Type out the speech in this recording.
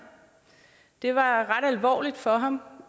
det var ret alvorligt for ham